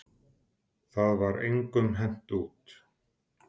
Það var engum hent út.